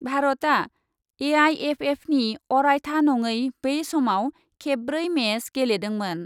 भारतआ एआइएफएफनि अरायथा नडै बै समाव खेबब्रै मेच गेलेदोंमोन ।